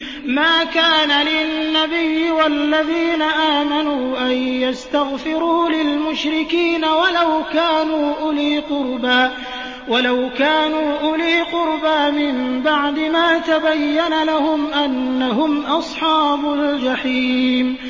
مَا كَانَ لِلنَّبِيِّ وَالَّذِينَ آمَنُوا أَن يَسْتَغْفِرُوا لِلْمُشْرِكِينَ وَلَوْ كَانُوا أُولِي قُرْبَىٰ مِن بَعْدِ مَا تَبَيَّنَ لَهُمْ أَنَّهُمْ أَصْحَابُ الْجَحِيمِ